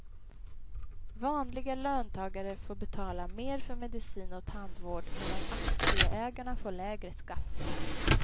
Vanliga löntagare får betala mer för medicin och tandvård medan aktieägarna får lägre skatt.